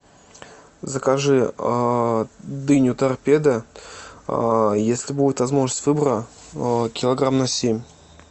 закажи дыню торпеда если будет возможность выбора килограмм на семь